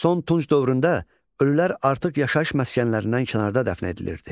Son tunç dövründə ölülər artıq yaşayış məskənlərindən kənarda dəfn edilirdi.